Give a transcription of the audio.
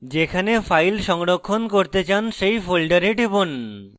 যেখানে file সংরক্ষণ করতে চান সেই folder টিপুন